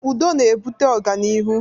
Udo na-ebute ọganihu